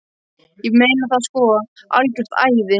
Ég meina það sko, algjört æði.